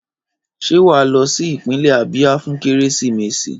Ṣé wà á lọ sí ìpínlẹ̀ Abia fún Kérésìmesì?